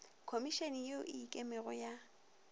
khomišene ye e ikemego ya